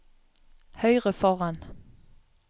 høyre foran